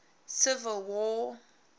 civil war